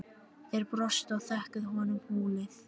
Þeir brostu og þökkuðu honum hólið.